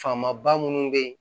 Faamaba minnu bɛ yen